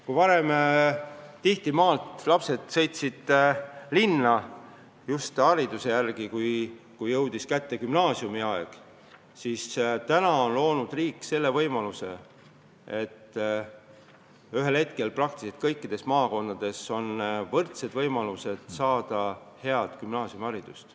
Kui varem tihti lapsed sõitsid maalt linna just gümnaasiumiharidust saama, siis nüüd on kõikides maakondades võrdsed võimalused saada head gümnaasiumiharidust.